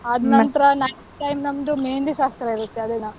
ಆದ್ ನಂತ್ರ night time ನಮ್ದು मेहँदी ಶಾಸ್ತ್ರ ಇರತ್ತೆ ಅದೇ ದಿನ.